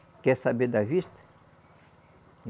Quer saber da vista?